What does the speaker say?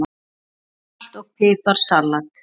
Salt og pipar salat